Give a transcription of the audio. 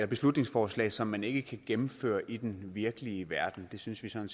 beslutningsforslag som man ikke kan gennemføre i den virkelige verden det synes vi sådan